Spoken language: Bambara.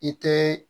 I te